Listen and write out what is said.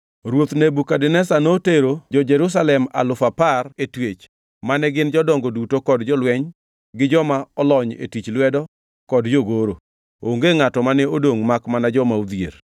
Ruoth Nebukadneza notero jo-Jerusalem alufu apar e twech mane gin jodongo duto kod jolweny, gi joma olony e tich lwedo kod jogoro. Onge ngʼato mane odongʼ makmana joma odhier.